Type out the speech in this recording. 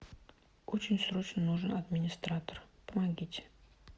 очень срочно нужен администратор помогите